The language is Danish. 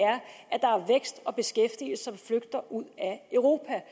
vækst og beskæftigelse flygter ud af europa